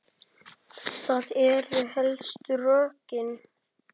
Það eru helstu rökin.